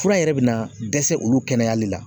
Fura yɛrɛ be na dɛsɛ olu kɛnɛyali la.